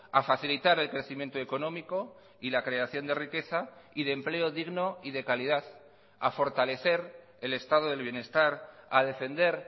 a facilitar el crecimiento económico y la creación de riqueza y de empleo digno y de calidad a fortalecer el estado del bienestar a defender